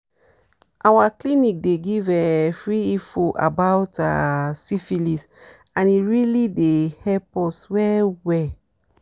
our clinic dey give um free info about ah syphilis and e really dey help well well